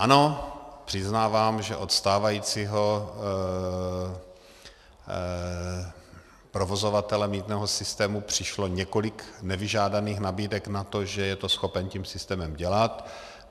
Ano, přiznávám, že od stávajícího provozovatele mýtného systému přišlo několik nevyžádaných nabídek na to, že je to schopen tím systémem dělat.